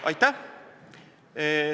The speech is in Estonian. Aitäh!